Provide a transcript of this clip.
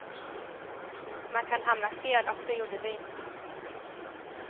Man kan hamna fel, och det gjorde vi.